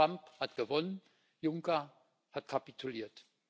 Trump hat gewonnen, Juncker hat kapituliert.